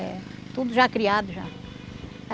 É. Tudo já criado já.